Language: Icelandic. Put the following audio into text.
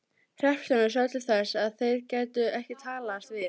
Hreppstjórinn sá til þess að þeir gætu ekki talast við.